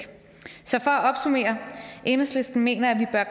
så for at opsummere enhedslisten mener at